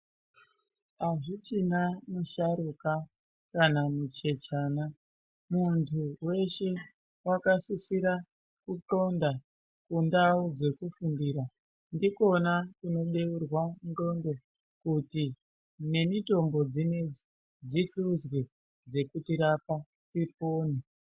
Hazvichina musharuka kana muchechana, muntu weshe wakasisira kutxonda kundau dzekufundira. Ndikona kunobeurwa ndxondo kuti nemitombo dzinedzi dzihluzwe dzekutirapa tipone.